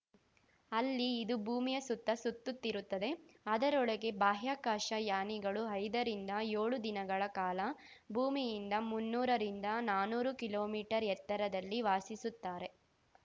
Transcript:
ಅಲ್ಲಿ ಇದು ಭೂಮಿಯ ಸುತ್ತ ಸುತ್ತುತ್ತಿರುತ್ತದೆ ಅದರೊಳಗೆ ಬಾಹ್ಯಾಕಾಶ ಯಾನಿಗಳು ಐದರಿಂದ ಯೋಳು ದಿನಗಳ ಕಾಲ ಭೂಮಿಯಿಂದ ಮುನ್ನೂರರಿಂದ ನಾನೂರು ಕಿಲೋಮೀಟರ್ ಎತ್ತರದಲ್ಲಿ ವಾಸಿಸುತ್ತಾರೆ